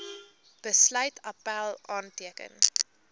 besluit appèl aanteken